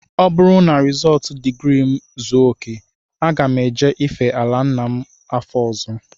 Ọ bụrụ na rizọọtụ digrii m zuo okè, aga m eje ife ala nna m afọ ọzọ